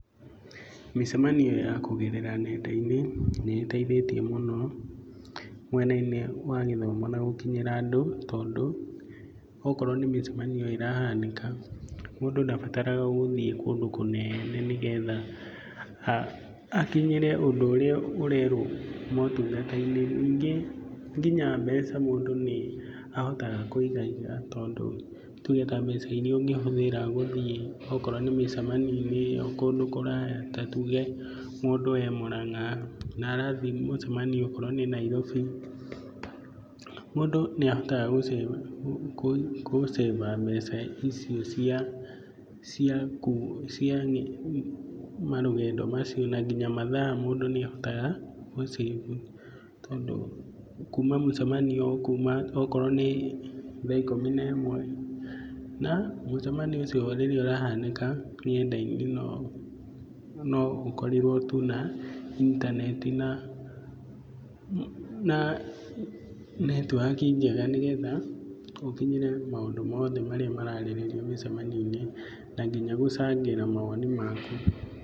Mĩcemanio ya kũgerera nenda-inĩ nĩĩteithĩtie mũno mwena-inĩ wa gĩthomo na gũkinyĩra andũ, tondũ okorwo nĩ mĩcemanio ĩrahanĩka, mũndũ ndabataraga gũthiĩ kũndũ kũnene nĩgetha akinyĩre ũndũ ũrĩa ũrerwo motungata-inĩ. Nĩngĩ nginya mbeca mũndũ nĩ ahotaga kũigaiga tondũ, tuge ta mbeca iria ũngĩhũthĩra gũthiĩ okorwo nĩ mĩcemanio-inĩ kũndũ kũraya ta tuge mũndũ e Mũrang'a na arathiĩ mũcemanio okorwo Nairobi mũndũ nĩahotaga gũcĩba mbeca icio cia marũgendo macio na ngĩnya mathaa na mũndũ nĩahotaga gũcĩbu. Tondũ kuma mũcemanio ũkuma okorwo nĩ thaa ikũmi na ĩmwe, na mũcemanio ũcio rĩrĩa ũrahanĩka nenda-inĩ no ũkorirwo tu na intaneti na netiwaki njega nĩgetha ũkinyĩre maũndũ mothe marĩa mararĩrĩrio mĩcemanio-inĩ na nginya gũcangĩra mawoni maku.